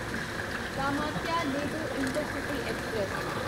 Kamakhya Ledo intercity express